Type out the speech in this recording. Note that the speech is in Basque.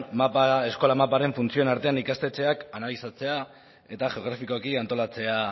mapa da eskola maparen funtzioen artean ikastetxeak analizatzea eta geografikoki antolatzea